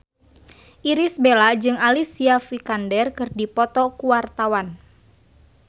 Irish Bella jeung Alicia Vikander keur dipoto ku wartawan